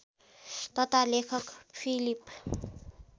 तथा लेखक फिलिप